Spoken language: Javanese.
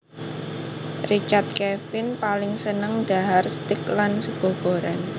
Richard Kevin paling seneng dhahar steak lan sega goreng